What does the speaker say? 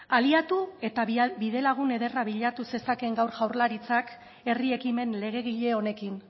aliatu eta bidelagun ederra bilatu zezakeen gaur jaurlaritzak herri ekimen legegile honekin